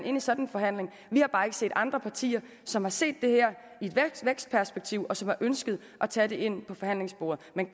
i en sådan forhandling vi har bare ikke set andre partier som har set det her i et vækstperspektiv og som har ønsket at tage det ind på forhandlingsbordet men